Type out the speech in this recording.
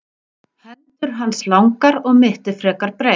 hendur hans langar og mittið frekar breitt